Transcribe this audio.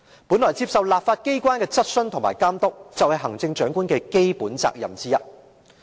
本來接受立法機關的質詢和監督，是行政長官的基本責任之一。